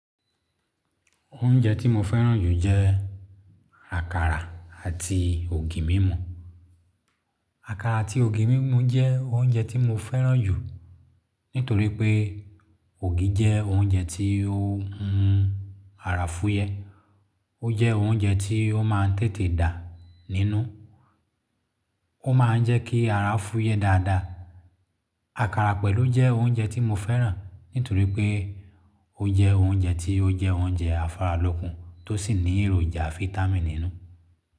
Oúnjẹ tí mo fẹ́ràn jù jẹ́ àkàrà àti ògì mímù. Àkàrà àti ògì mímù jẹ́ oúnjẹ tí mo fẹ́ràn jù nítorí pé ògì jẹ́ oúnjẹ tí ó ń mun ara fúyẹ́. Ó jẹ́ oúnjẹ tí ó máa ń tètè dà nínú. Ó máa ń jẹ́ kí ara fúyẹ́ dáadáa. Àkàrà pẹ̀lú jẹ́ oúnjẹ tí mo fẹ́ràn nítorí pé ó jẹ́ oúnjẹ tí ó jẹ́ oúnjẹ afáralókun tó sì ní èròjà fáítámì nínú.